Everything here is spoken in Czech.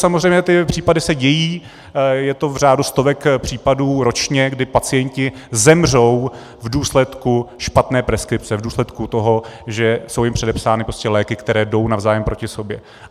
Samozřejmě ty případy se dějí, je to v řádu stovek případů ročně, kdy pacienti zemřou v důsledku špatné preskripce, v důsledku toho, že jsou jim předepsány léky, které jdou navzájem proti sobě.